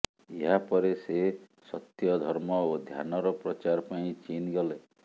ଏହା ପରେ ସେ ସତ୍ୟ ଧର୍ମ ଓ ଧ୍ୟାନର ପ୍ରଚାର ପାଇଁ ଚୀନ ଗଲେ